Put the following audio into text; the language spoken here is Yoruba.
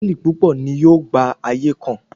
Hòtẹ́ẹ̀lì púpọ̀ ni yóò gba ayé kan.